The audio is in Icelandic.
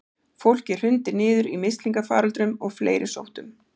Fólk hrundi niður í mislingafaröldrum og fleiri sóttum.